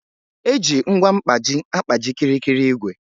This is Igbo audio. Eji ngwa mkpaji agkpaji kịrịkịrị igwè